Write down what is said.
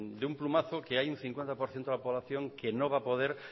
de un plumazo que hay un cincuenta por ciento de la población que no va a poder